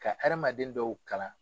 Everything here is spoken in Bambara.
Ka hadamaden dɔw kalan.